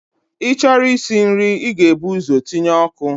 Ị chọrọ isi nri, ị ga-ebu ụzọ tinye ọkụ.